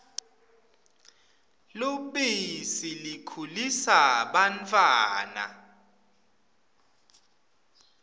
lubisi likhulisa bantfwana